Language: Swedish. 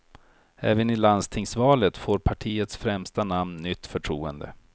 Även i landstingsvalet får partiets främsta namn nytt förtroende.